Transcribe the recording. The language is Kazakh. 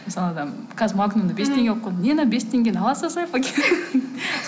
мысалы қазір магнумда бес теңге қылып қойды не мынау бес теңгені ала салсайшы пакет